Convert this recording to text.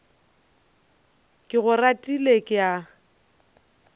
ke go ratile ke a